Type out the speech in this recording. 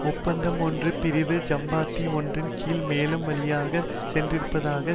ஒப்பந்தம் ஒன்று பிரிவு ஐம்பத்தி ஒன்றின் கீழ் மேலும் வழிவகை செய்யப்பட்டிருப்பதாவது